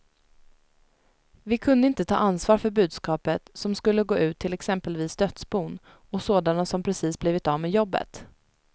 Vi kunde inte ta ansvar för budskapet, som skulle gå ut till exempelvis dödsbon och sådana som precis blivit av med jobbet.